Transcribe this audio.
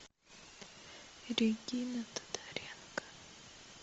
регина тодоренко